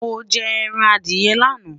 mọ jẹ ẹran Adiye laana